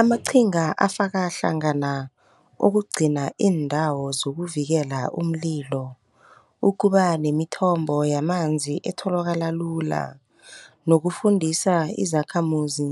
Amaqhinga afaka hlangana ukugcina iindawo zokuvikela umlilo, ukuba nemithombo yamanzi etholakala lula, nokufundisa izakhamuzi